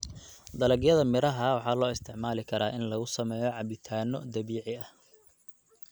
Dalagyada miraha waxaa loo isticmaali karaa in lagu sameeyo cabitaanno dabiici ah.